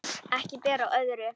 Ekki ber á öðru